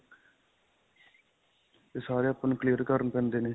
ਇਹ ਸਾਰੇ ਆਪਾਂ ਨੂੰ clear ਕਰਨੇ ਪੈਂਦੇ ਨੇ .